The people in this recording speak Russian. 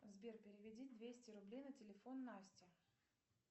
сбер переведи двести рублей на телефон насте